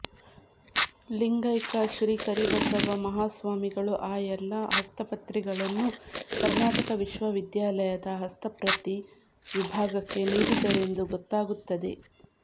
ಲಿಂಗೈಕ್ಯ ಶ್ರೀ ಕರಿಬಸವ ಮಹಾಸ್ವಾಮಿಗಳು ಆ ಎಲ್ಲ ಹಸ್ತಪ್ರತಿಗಳನ್ನು ಕರ್ನಾಟಕ ವಿಶ್ವವಿದ್ಯಾಲಯದ ಹಸ್ತಪ್ರತಿ ವಿಭಾಗಕ್ಕೆ ನೀಡಿದರೆಂದು ಗೊತ್ತಾಗುತ್ತದೆ